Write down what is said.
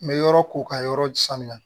N bɛ yɔrɔ ko ka yɔrɔ saniya